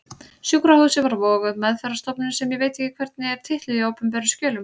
Sjúkrahúsið var Vogur, meðferðarstofnunin sem ég veit ekki hvernig er titluð í opinberum skjölum.